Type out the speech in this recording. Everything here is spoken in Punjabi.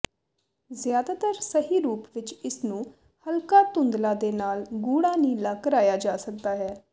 ਜ਼ਿਆਦਾਤਰ ਸਹੀ ਰੂਪ ਵਿਚ ਇਸਨੂੰ ਹਲਕਾ ਧੁੰਦਲਾ ਦੇ ਨਾਲ ਗੂੜਾ ਨੀਲਾ ਕਰਾਇਆ ਜਾ ਸਕਦਾ ਹੈ